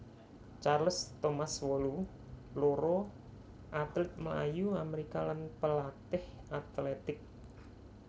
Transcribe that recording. Charles Thomas wolu loro atlit mlayu Amerika lan palatih atlètik